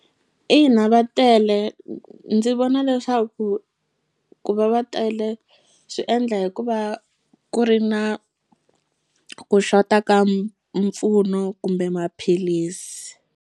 Ina va tele ndzi vona leswaku ku va va tele swi endla hikuva ku ri na ku xota ka mpfuno kumbe maphilisi.